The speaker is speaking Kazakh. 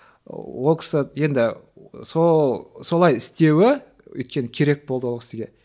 ол кісі енді сол солай істеуі өйткені керек болды ол кісіге